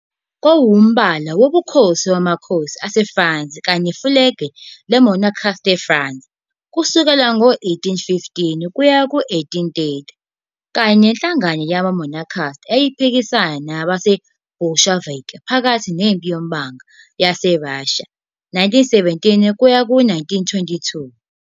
Kwakuwumbala wobukhosi wamakhosi aseFrance kanye nefulegi le-monachist France kusukela ngo-1815 kuya ku-1830, kanye nenhlangano yama-monarchist eyayiphikisana namaBolshevik phakathi neMpi Yombango YaseRussia, 1917-1922.